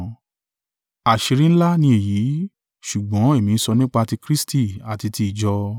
Àṣírí ńlá ní èyí: ṣùgbọ́n èmí ń sọ nípá ti Kristi àti tí ìjọ.